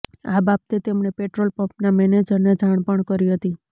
આ બાબતે તેમણે પેટ્રોલ પમ્પના મેનેજરને જાણ પણ કરી હતી